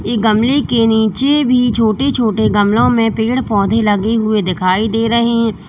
ये गमले के नीचे भी छोटे छोटे गमलों में पेड़ पौधे लगे हुए दिखाई दे रहे हैं।